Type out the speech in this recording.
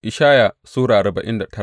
Ishaya Sura arba'in da tara